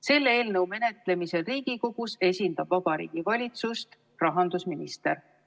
Selle eelnõu menetlemisel Riigikogus esindab Vabariigi Valitsust rahandusminister.